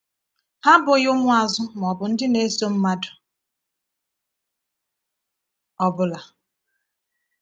Ha abụghị ụmụazụ ma ọ bụ ndị na-eso mmadụ ọ bụla.